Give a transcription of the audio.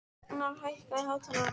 Agnar, hækkaðu í hátalaranum.